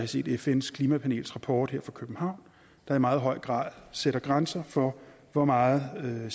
set fns klimapanels rapport her fra københavn der i meget høj grad sætter grænser for hvor meget